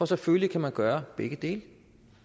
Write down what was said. selvfølgelig kan man gøre begge dele